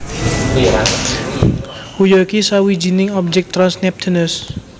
Huya iku sawijining objèk trans Neptunus